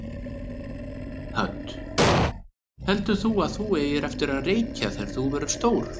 Hödd: Heldur þú að þú eigir eftir að reykja þegar þú verður stór?